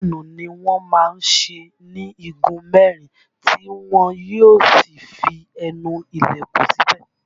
Páànù ni wọ́n má ń ṣe ní igun mẹ́rin tí wọn yó sì fi ẹnu ilẹ̀kùn síbẹ̀